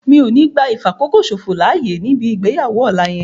Mi ò ní gbá ìfàkókòṣòfò láyè níbi ìgbéyàwó ọ̀la yẹn